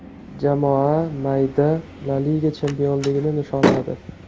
Jamoa mayda La Liga chempionligini nishonladi.